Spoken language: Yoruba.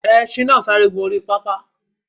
Esin náà sáré gùn orí pápá